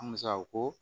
Musa ko